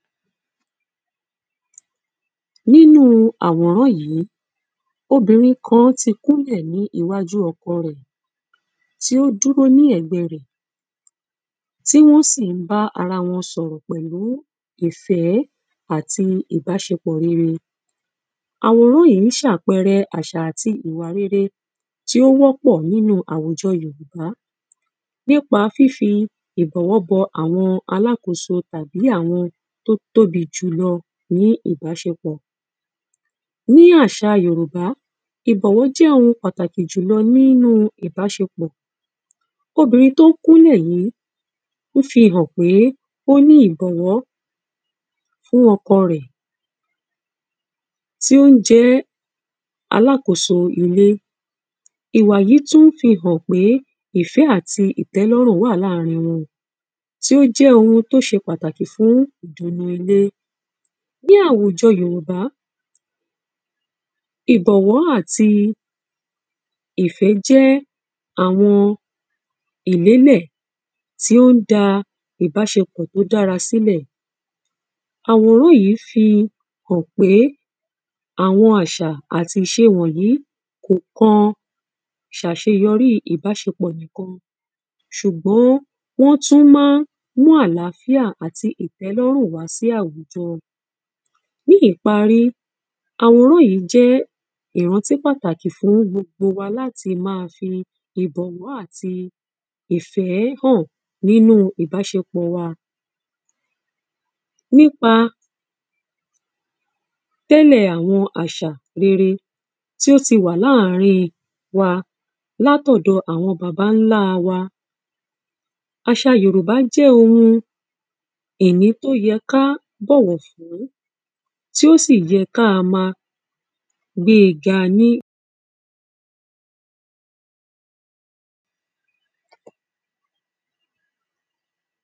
Nínu àwòrán ỳí, obìnrin kan ti kúnlẹ̀ ní iwájú ọkọ rẹ̀, tí ó dúró ní ẹ̀gbẹ́ẹ rẹ̀, tí wọ́n sì ń bá ara wọn sọ̀rọ̀ pẹ̀lú ìfẹ́ àti ìbáṣepọ̀ rere. Àwòrán yìí ṣe àpẹrẹ àṣà àti ìwà rere, tí ó wọ́pọ̀ nínu àwùjọ Yòrùbá, nípa fífi ìbọ̀wọ́ bọ àwọn alákòóso àti àwọn tó tóbi jùlọ ní ìbáṣepọ̀. Ní àṣà Yòrùbá, ìbọ̀wọ́ jẹ́ oun pàtàkì jùlọ nínu ìbáṣepọ̀, obìnrin tó ń kúnlẹ̀ yìí, ó fi hàn pé ó ní ìbọ̀wọ́ fún oko rẹ̀, tí ó jẹ ẹ́ alákóso ilé, ìwà yí, tún fi hàn pé ifẹ́ àti ìtẹ́lọ́rùn wà láàrin wọn, tí ó jẹ́ oun tó ṣe pàtàkì fún ìdùnnú ilé, ní àwùjọ Yorùbá, ìbọ̀wọ́ àti ìfẹ́ jẹ́ àwọn ìlélẹ̀ tí ó ń da ìbáṣepọ̀ tí ó dára silẹ̀, àwòrán yìí fi hàn pé àwọn àṣà àti ìṣe wọ̀nyí kò kan ṣàṣeyọrí ìbáṣepọ̀ nìkan, ṣùgbọ́n, wọ́n tún ma ń mú àláfíà àti ìtẹ́lọ́rùn wá sí àwùjọ Ní ìparí, àwòrán yìí jẹ́ ìrántí pàtàkì fún gbogbo wa láti ma fi ìbọ̀wọ́ àti ìfẹ́ hàn nínú ìbáṣepọ̀ wa, nípa tẹ́lẹ̀ àwọn àṣà rere, tí ó ti wà láàrín wa látọ̀dọ àwọn baba ńlá wa. Àṣà Yòrùbá jẹ́ oun ìní tó yẹ ká bọ̀wọ̀ fún, tí ó sì yẹ ká ma gbée ga ní.